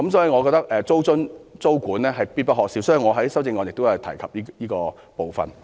我認為租津、租管是必不可少的，因此我在修正案中提出了這部分。